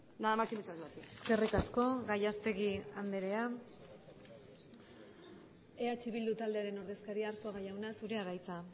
nada más y muchas gracias eskerrik asko gallastegui andrea eh bildu taldearen ordezkaria arzuaga jauna zurea da hitza